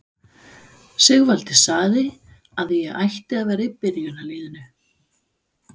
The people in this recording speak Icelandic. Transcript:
Sigvaldi sagði að ég ætti að vera í byrjunarliðinu!